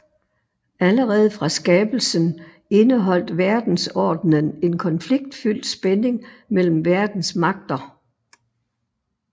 Allerede fra skabelsen indeholdt verdensordenen en konfliktfyldt spænding mellem verdens magter